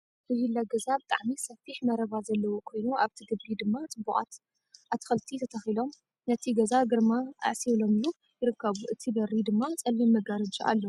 ቢላ ገዛ ብጣዕሚ ሰፊሕ በረባ ዘለዎ ኮይኑ ኣብቲ ግቢ ድማ ፅቡቃት ኣትክልቲ ተተኪሎም ንቲ ገዛ ግርማ ኣዕሲለምሉ ይርከቡ። እቲ በሪ ድማ ፀሊም መጋረጃ አለዎ።